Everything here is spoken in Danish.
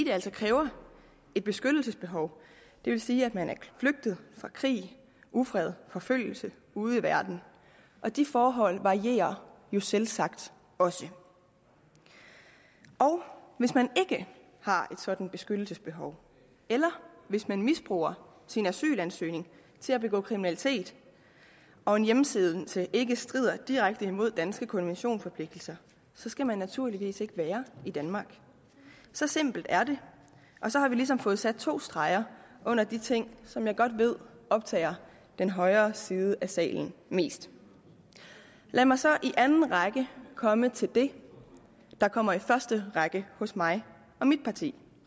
altså kræver et beskyttelsesbehov det vil sige at man er flygtet fra krig ufred og forfølgelse ude i verden de forhold varierer jo selvsagt også og hvis man ikke har et sådant beskyttelsesbehov eller hvis man misbruger sin asylansøgning til at begå kriminalitet og en hjemsendelse ikke strider direkte mod danske konventionsforpligtelser skal man naturligvis ikke være i danmark så simpelt er det så har vi ligesom fået sat to streger under de ting som jeg godt ved optager den højre side af salen mest lad mig så i anden række komme til det der kommer i første række hos mig og mit parti